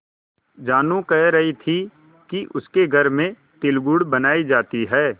जानू कह रही थी कि उसके घर में तिलगुड़ बनायी जाती है